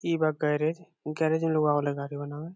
इ बा garage garage में लोग आबे ला गाड़ी बनावे।